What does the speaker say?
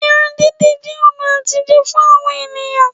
Irun dídì jẹ́ ọ̀nà àtijẹ fún àwọn ènìyàn